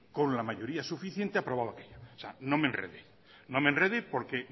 con la mayoría suficiente aprobado aquello o sea no me enrede no me enrede porque